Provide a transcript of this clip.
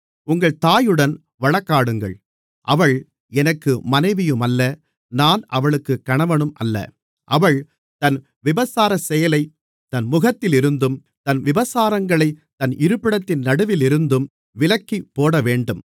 உங்கள் தாயுடன் வழக்காடுங்கள் அவள் எனக்கு மனைவியுமல்ல நான் அவளுக்குக் கணவனுமல்ல அவள் தன் விபச்சாரச்செயலை தன் முகத்திலிருந்தும் தன் விபசாரங்களைத் தன் இருப்பிடத்தின் நடுவிலிருந்தும் விலக்கிப்போடவேண்டும்